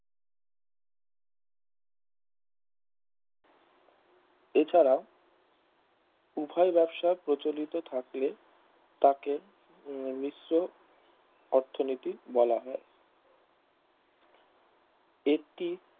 এছাড়াও উভয় ব্যবসা প্রচলিত থাকলে তাকে মিশ্র অর্থনীতি বলা হয় একটি